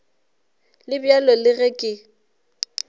le bjalo le ge ke